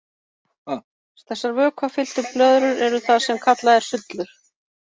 Þessar vökvafylltur blöðrur eru það sem kallað er sullur.